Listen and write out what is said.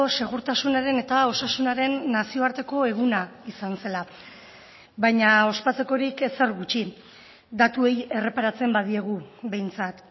segurtasunaren eta osasunaren nazioarteko eguna izan zela baina ospatzekorik ezer gutxi datuei erreparatzen badiegu behintzat